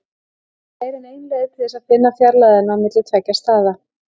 Það eru fleiri en ein leið til þess að finna fjarlægðina á milli tveggja staða.